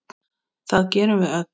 Það gerum við öll.